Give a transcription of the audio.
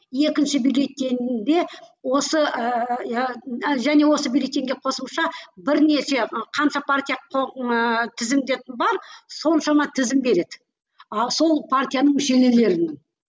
екінші бюллетеньде осы ыыы иә және осы бюллетеньге қосымша бірнеше қанша партия ыыы тізімде бар соншама тізім береді ал сол партияның